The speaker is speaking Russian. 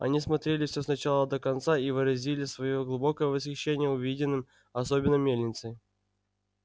они осмотрели все с начала до конца и выразили своё глубокое восхищение увиденным особенно мельницей